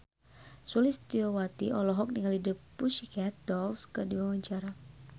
Sulistyowati olohok ningali The Pussycat Dolls keur diwawancara